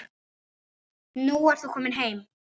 Nú ert þú komin heim.